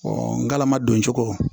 ngalama doncogo